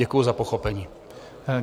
Děkuji za pochopení.